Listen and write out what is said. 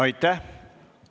Aitäh!